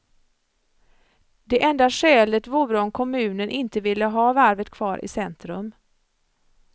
Det enda skälet vore om kommunen inte ville ha varvet kvar i centrum.